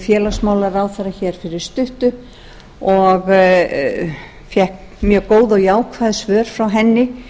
félagsmálaráðherra hér fyrir stuttu og fékk mjög góð og jákvæð svör frá henni